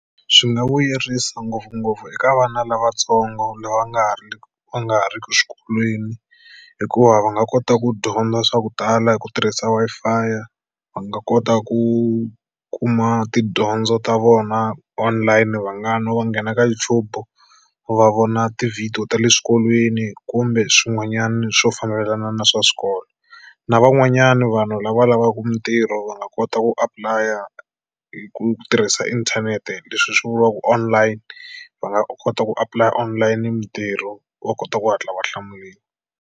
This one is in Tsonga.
Swi nga vuyerisa ngopfungopfu eka vana lavatsongo lava va nga ha ri va nga ha riki xikolweni hikuva va nga kota ku dyondza swa ku tala hi ku tirhisa Wi-Fi. Va nga kota ku kuma tidyondzo ta vona online va nga no va nghena ka YouTube va vona tivhidiyo ta le swikolweni kumbe swin'wanyana swo fambelana na swa swikolo na van'wanyana vanhu lava lavaka mitirho va nga kota ku apply-a hi ku tirhisa inthanete leswi swi vuriwaka online. Va nga kota ku apply-a online mitirho va kota ku hatla va hlamuriwa.